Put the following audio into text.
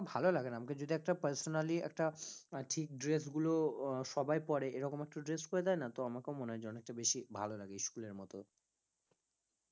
ভালো লাগে না আমাকে যদি একটা personally একটা ঠিক ড্রেসগুলো আহ সবাই পড়ে এরকম একটা dress করে দেয় না তো আমাকেও মনে হয় যে অনেকটা বেশি ভালো লাগে school এর মত